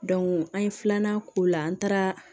an ye filanan k'o la an taara